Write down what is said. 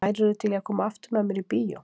En værirðu til í að koma aftur með mér í bíó?